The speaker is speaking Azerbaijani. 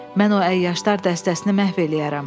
Mən o əyyaşlar dəstəsini məhv eləyərəm.